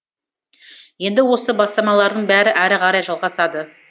енді осы бастамалардың бәрі әрі қарай жалғасады